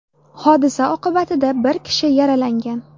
Hodisa oqibatida bir kishi yaralangan.